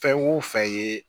Fɛn o fɛn ye